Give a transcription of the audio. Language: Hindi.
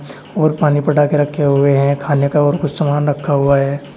और पानी पटा के रखे हुए हैं खाने का और कुछ सामान रखा हुआ है।